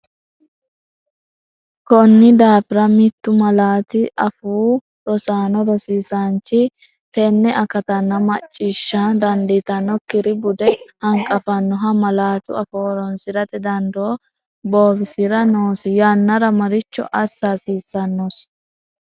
Konni daafira mittu malaatu afoo rosanno rosaanchi tenne akattanna mac ciishsha dandiitannokkiri bude hanqafannoha malaatu afoo horoonsi’rate dandoo bowirsi’ra noosi, yannara maricho assa hasiissannosi?